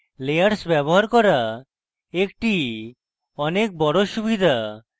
layers ব্যবহার করা একটি অনেক বড় সুবিধা